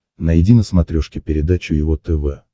найди на смотрешке передачу его тв